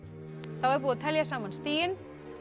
er búið að telja saman stigin